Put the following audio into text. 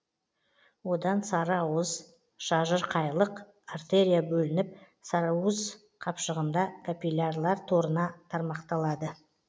одан сарыуыз шажырқайлық артерия бөлініп сарыуыз қапшығында капиллярлар торына тармақталады